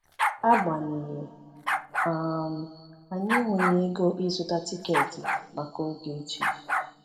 Agbanyeghị, um anyị enweghi ego ịzụta tiketi maka Ogechi.